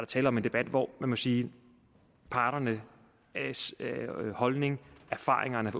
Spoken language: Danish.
tale om en debat hvor man må sige at parternes holdning erfaringerne